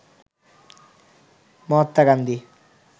Mahatma Gandhi